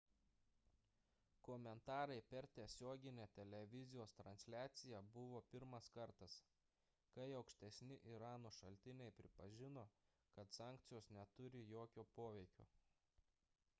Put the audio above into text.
komentarai per tiesioginę televizijos transliaciją buvo pirmas kartas kai aukštesni irano šaltiniai pripažino kad sankcijos neturi jokio poveikio